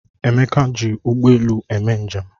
Emeka ji ụgbọ elu eme njem